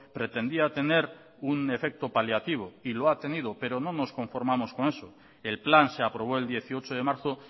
pretendía tener un efecto paliativo y lo ha tenido pero no nos conformamos con eso el plan se aprobó el dieciocho de marzo